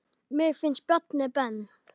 Mér finnst Bjarni Ben.